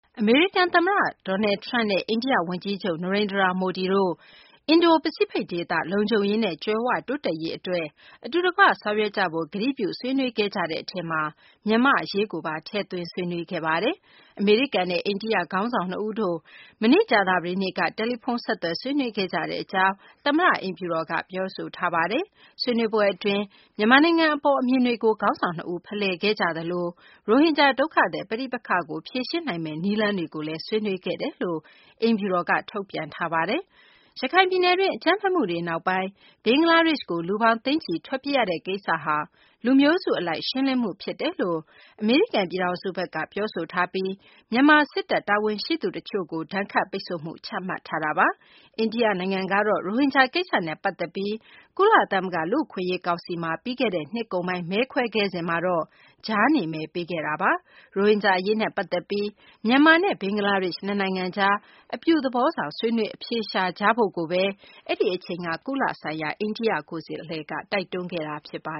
အမေရိကန် သမ္မတ Donald Trump နဲ့ အိန္ဒိယ ဝန်ကြီးချုပ် နရိန္ဒြာမိုဒီတို့ အင်ဒိုပစိဖိတ် ဒေသ လုံခြုံရေးနဲ့ ကြွယ်ဝတိုးတက်ရေး အတွက် အတူတကွ ဆောင်ရွက်ကြဖို့ ကတိပြု ဆွေးနွေးခဲ့ကြတဲ့ အထဲမှာ မြန်မာ့အရေးကိုပါ ထည့်သွင်း ဆွေးနွေးခဲ့ပါတယ်။ အမေရိကန်နဲ့ အိန္ဒိယ ခေါင်းဆောင် နှစ်ဦးတို့ မနေ့ ကြာသပတေးနေ့က တယ်လီဖုန်းဆက်သွယ် ဆွေးနွေးခဲ့ကြတဲ့ အကြောင်း အမေရိကန် သမ္မတ အိမ်ဖြူတော်က ပြောဆိုထားတာပါ။ ဆွေးနွေးမှု အတွင်း မြန်မာနိုင်ငံ အပေါ် အမြင်တွေကို ခေါင်းဆောင် နှစ်ဦး ဖလှယ်ခဲ့ကြသလို ရိုဟင်ဂျာ ဒုက္ခသည် ပဋိပက္ခကို ဖြေရှင်းနိုင်ရေး နည်းလမ်းတွေကိုလည်း ဆွေးနွေးခဲ့ကြောင်း အိမ်ဖြူတော်က ထုတ်ပြန်ထားပါတယ်။ ရခိုင်ပြည်နယ်တွင်း အကြမ်းဖက်မှုတွေ နောက်ပိုင်း ဘင်္ဂလားဒေရှ့်ကို လူပေါင်း သိန်းချီ ထွက်ပြေးရတဲ့ ကိစ္စဟာ လူမျိုးစု အလိုက် ရှင်းလင်းမှု ဖြစ်တယ်လို့ အမေရိကန် ပြည်ထောင်စုက ပြောဆိုထားပြီး မြန်မာ စစ်တပ်ရဲ့ တာဝန်ရှိသူတွေကို ဒဏ်ခတ်ပိတ်ဆို့မှု ချမှတ်ထားတာပါ။ အိန္ဒိယ နိုင်ငံကတော့ ရိုဟင်ဂျာ ကိစ္စနဲ့ ပတ်သက်ပြီး ကုလသမဂ္ဂ လူ့အခွင့်အရေး ကောင်စီမှာ ပြီးခဲ့တဲ့ နှစ်ကုန်ပိုင်း မဲခွဲခဲ့စဉ်မှာတော့ ကြားနေမဲပေးခဲ့တာပါ။ ရိုဟင်ဂျာ အရေးနဲ့ ပတ်သက်ပြီး မြန်မာနဲ့ ဘင်္ဂလားဒေရှ့် နှစ်နိုင်ငံကြား အပြုသဘောဆောင် ဆွေးနွေး အဖြေရှာကြဖို့ကိုဘဲ အဲဒီအချိန်က ကုလဆိုင်ရာ အိန္ဒိယ ကိုယ်စားလှယ်က တိုက်တွန်းခဲ့တာပါ